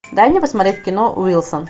дай мне посмотреть кино уилсон